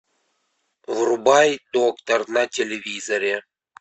врубай доктор на телевизоре